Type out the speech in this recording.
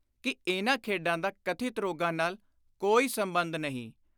ਕਿ ਇਨ੍ਹਾਂ ਖੇਡਾਂ ਦਾ ਕਥਿਤ ਰੋਗਾਂ ਨਾਲ ਕੋਈ ਸੰਬੰਧ ਨਹੀਂ।